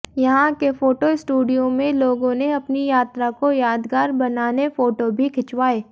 यहां के photo studio में लोगों ने अपनी यात्रा को यादगार बनाने फोटो भी खिंचवाए